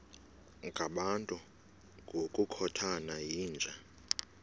ngabantu ngokukhothana yinja